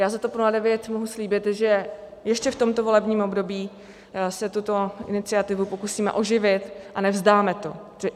Já za TOP 09 mohu slíbit, že ještě v tomto volebním období se tuto iniciativu pokusíme oživit a nevzdáme to.